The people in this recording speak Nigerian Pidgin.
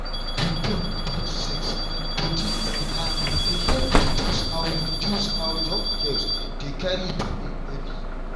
open talk about sex and body matter dey help reduce how reduce how young girls dey carry belle early.